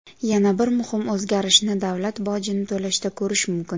Yana bir muhim o‘zgarishni davlat bojini to‘lashda ko‘rish mumkin.